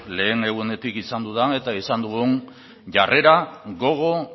lehen egunetik izan dudan eta izan dugun jarrera gogo